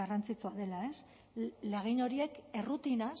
garrantzitsua dela lagin horiek errutinaz